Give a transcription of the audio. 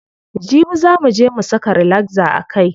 Jibi zaa muje mu saka relaxer a kai.